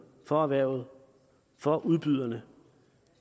for erhvervet for udbyderne